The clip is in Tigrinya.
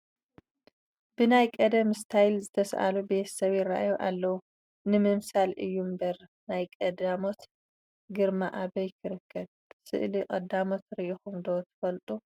ብናይ ቀደም ስታይል ዝተሳእሉ ቤተሰብ ይርአዩ ኣለዉ፡፡ ንምምሳል እዩ እምበር ናይ ቀዳሞት ግርማ ኣበይ ክርከብ፡፡ ስእሊ ቀዳሞት ርኢኹም ዶ ትፈልጡ?